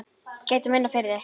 Ég gæti minna, fyrir þig.